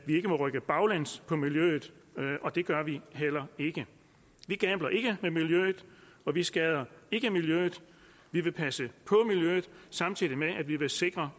ikke må rykke baglæns på miljøet og det gør vi heller ikke vi gambler ikke med miljøet og vi skader ikke miljøet vi vil passe på miljøet samtidig med at vi vil sikre